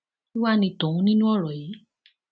kí wàá ní tòun nínú ọrọ yìí